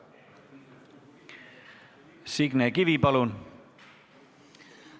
Signe Kivi, palun!